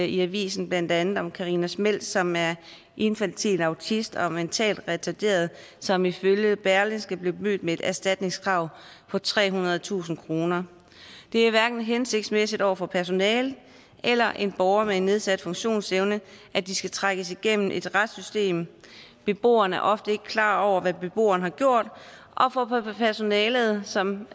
i avisen blandt andet om karina schmeltz som er infantil autist og mentalt retarderet som ifølge berlingske blev mødt med et erstatningskrav på trehundredetusind kroner det er hverken hensigtsmæssigt over for personale eller en borger med en nedsat funktionsevne at de skal trækkes igennem et retssystem beboeren er ofte ikke klar over hvad beboeren har gjort og for personalet som